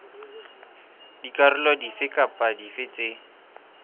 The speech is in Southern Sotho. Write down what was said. dikarolo dife kapa dife tse